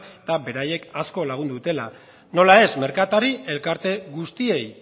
eta beraiek asko lagundu dutela nola ez merkatari elkarte guztiei